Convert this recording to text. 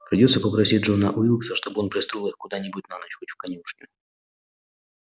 придётся попросить джона уилкса чтобы он пристроил их куда-нибудь на ночь хоть в конюшню